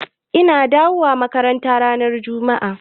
Idan na dawu a makaranta ran jumma'a.